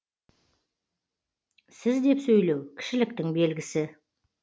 сіз деп сөйлеу кішіліктің белгісі